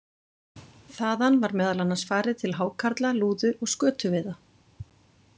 Þaðan var meðal annars farið til hákarla-, lúðu- og skötuveiða.